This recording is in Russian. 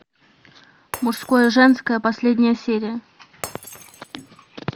мужское женское последняя серия